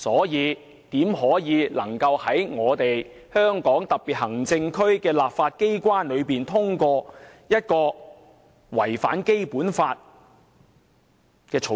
因此，香港特別行政區的立法機關怎可能通過一項違反《基本法》的《條例草案》？